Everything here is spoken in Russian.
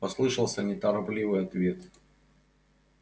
послышался неторопливый ответ